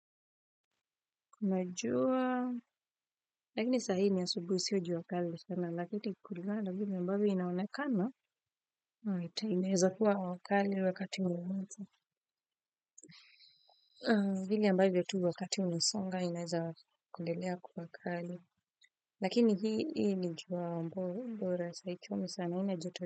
Kuna jua lakini sahi hii ni asubuhi sio jua kali lakini kulingana na inavyoonekana ita inaweza kuwa wa kali wakati wowote vile ambavyo tu wakati umesonga inaweza kuendelea kuwa kali lakini hii ni jua bora saa hii haichomi sana haina joto.